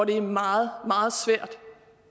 det er meget meget svært